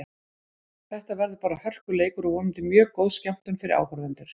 Þetta verður bara hörkuleikur og vonandi mjög góð skemmtun fyrir áhorfendur.